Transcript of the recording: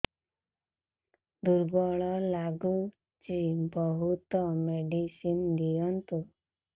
ଦୁର୍ବଳ ଲାଗୁଚି ବହୁତ ମେଡିସିନ ଦିଅନ୍ତୁ